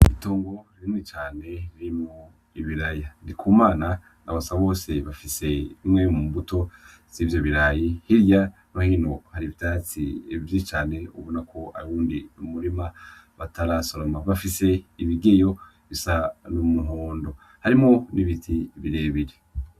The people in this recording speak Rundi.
Itongo rinini cane ririmwo ibiraya, Ndikumana na Basabose bafise imwe mu mbuto zivyo birayi, hirya no hino hari ivyatsi vyinshi cane ubona ko ari uwundi umurima batarasoroma, bafise imigeyo isa n'umuhondo, harimwo n'ibiti birebire.